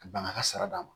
Ka ban ka sara d'a ma